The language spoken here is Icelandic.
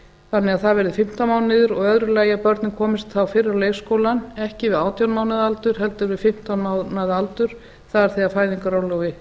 þannig að það verði fimmtán mánuðir og í öðru lagi að börn komist fyrr á leikskólann ekki við átján mánaða aldur heldur við fimmtán mánaða aldur það er þegar fæðingarorlofi